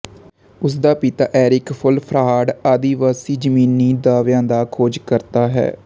ਉਸ ਦਾ ਪਿਤਾ ਏਰਿਕ ਵੂਲਫਹਾਰਡ ਆਦਿਵਾਸੀ ਜ਼ਮੀਨੀ ਦਾਅਵਿਆਂ ਦਾ ਖੋਜਕਰਤਾ ਹੈ